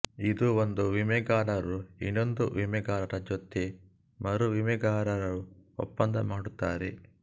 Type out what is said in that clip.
ಇದು ಒಂದು ವಿಮೆಗಾರರು ಇನೊಂದು ವಿಮೆಗಾರರ ಜೊತೆ ಮರುವಿಮೆಗಾರರು ಒಪ್ಪಂದ ಮಾಡುತ್ತಾರೆ